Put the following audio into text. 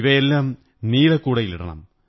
ഇവയെല്ലാം നീല കൂടയിലിടണം